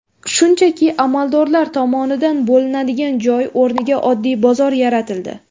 Shunchaki amaldorlar tomonidan bo‘linadigan joy o‘rniga oddiy bozor yaratildi.